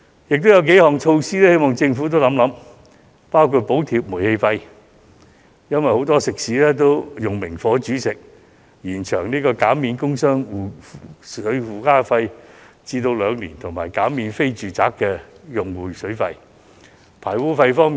另有數項措施，我希望政府可以一併考慮，包括：補貼煤氣費，因為很多食肆均使用明火煮食；工商業污水附加費的減免延長至兩年；以及減免非住宅用戶的水費。